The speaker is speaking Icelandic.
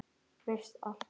Veist allt.